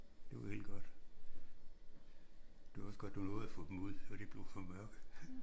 Det var helt godt. Det var også godt du nåede at få dem ud. Så de ikke blev for mørke